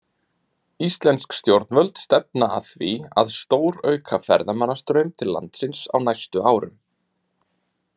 Íslensk stjórnvöld stefna að því að stórauka ferðamannastraum til landsins á næstu árum.